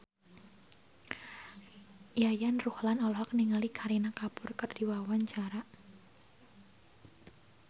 Yayan Ruhlan olohok ningali Kareena Kapoor keur diwawancara